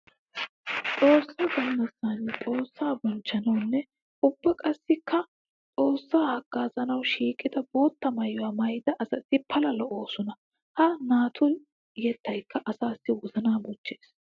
Xoosa galassan xoosa bonchchanawunne ubba qassikka xoosa hagazanawu shiiqidda bootta maayuwa maayidda asatti pala lo'osonna. Ha naatu yettaykka asaassi wozana bochchees.